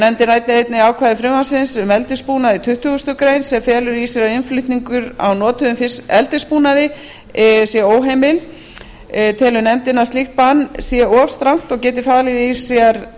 nefndin ræddi einnig ákvæði frumvarpsins um eldisbúnað í tuttugustu greinar sem felur í sér að innflutningur á notuðum eldisbúnaði sé óheimill telur nefndin að slíkt bann sé of strangt og geti falið í sér